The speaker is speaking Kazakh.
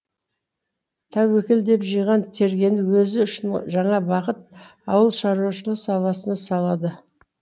тәуекел деп жиған тергенін өзі үшін жаңа бағыт ауыл шаруашылығы саласына салады